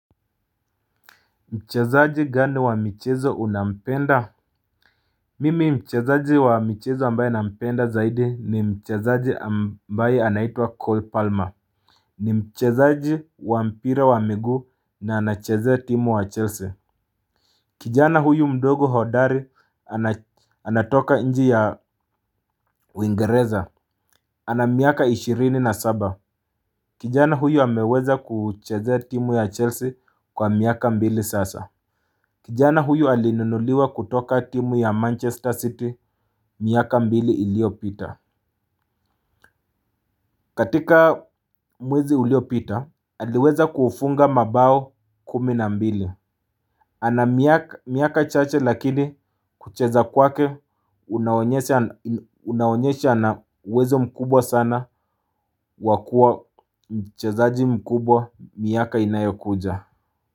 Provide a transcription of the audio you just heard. Mchezaji gani wa michezo unampenda. Mimi mchezaji wa michezo ambaye nampenda zaidi ni mchezaji ambaye anaitwa Cole Palmer. Ni mchezaji wa mpira wa miguu na anachezea timu ya Chelsea. Kijana huyu mdogo hodari anatoka nji ya uingeriza. Ana miaka ishirini na saba. Kijana huyu ameweza kuchezea timu ya Chelsea kwa miaka mbili sasa. Kijana huyu alinunuliwa kutoka timu ya Manchester City miaka mbili iliopita. Katika mwezi uliopita, aliweza kufunga mabao kumi na mbili. Ana miaka chache lakini kucheza kwake, unaonyesha ana uwezo mkubwa sana wa kuwa mchezaaji mkubwa miaka inayokuja.